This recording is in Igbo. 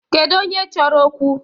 Kedu onye chọrọ okwu?